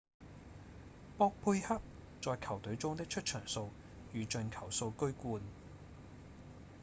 博貝克在球隊中的出場數與進球數居冠